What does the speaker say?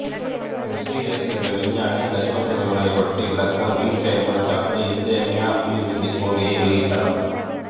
Berzelius என்ற விஞ்ஞானி கரிம சேர்மங்களைப் பற்றி விளக்க உயிர் செயல்முறை சார்ந்த இன்றியமையா உயிர்விசைக் கொள்கையை வெளியிட்டார்